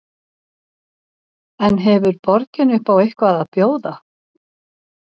En hefur borgin upp á eitthvað að bjóða?